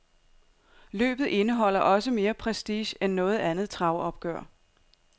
Løbet indeholder også mere prestige end noget andet travopgør.